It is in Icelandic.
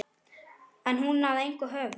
Er hún að engu höfð?